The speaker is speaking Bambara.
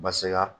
Baseka